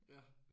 Ja